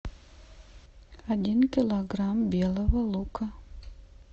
один килограмм белого лука